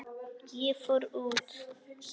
Ég fór út.